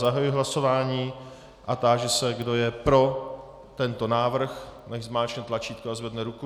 Zahajuji hlasování a táži se, kdo je pro tento návrh, nechť zmáčkne tlačítko a zvedne ruku.